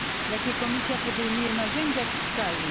Jakie Komisja podejmuje narzędzia fiskalne?